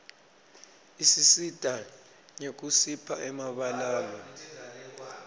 isisita nyekusipha emabalaue